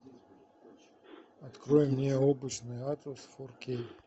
открой мне облачный атлас фор кей